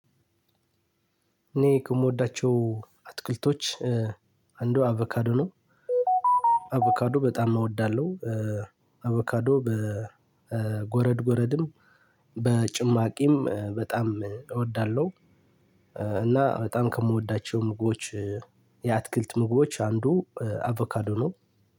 እኔ ከምወዳቸው አትክልቶች አንዱ አቮካዶ ነው አቮካዶ በጣም እወዳለሁ አቮካዶ በጎረድ ጎረድም በጭማቂም በጣም እወዳለሁ። እና በጣም ከምወዳቸው ምግቦች የአትክልት ምግቦች አንዱ አቮካዶ ነው።